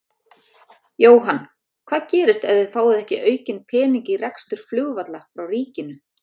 Jóhann: Hvað gerist ef að þið fáið ekki aukinn pening í rekstur flugvalla frá ríkinu?